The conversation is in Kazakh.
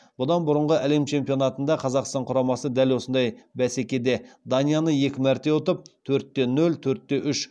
бұдан бұрынғы әлем чемпионатында қазақстан құрамасы дәл осындай бәсекеде данияны екі мәрте ұтып